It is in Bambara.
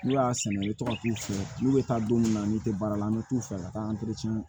N'u y'a sɛnɛ i tɔgɔ tu be taa don min na n'i te baara la an be t'u fɛ ka taa